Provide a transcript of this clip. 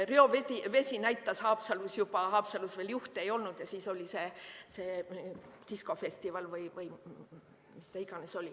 Reovesi näitas Haapsalus ajal, kui seal veel haigusjuhte ei olnud, ja siis oli see diskofestival või mis iganes.